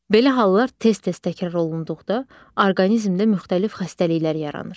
Belə hallar tez-tez təkrar olunduqda orqanizmdə müxtəlif xəstəliklər yaranır.